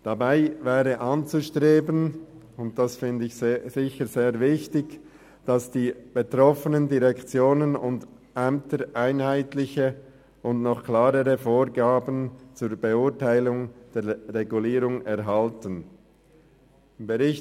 Dabei wäre anzustreben, dass die betroffenen Direktionen und Ämter einheitliche und noch klarere Vorgaben zur Beurteilung der Regulierung erhalten, was ich sehr wichtig finde.